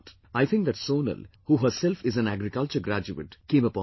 I think that Sonal, who herself is an agriculture graduate, came upon this idea